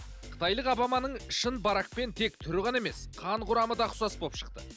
қытайлық обаманың шын баракпен тек түрі ғана емес қан құрамы да ұқсас болып шықты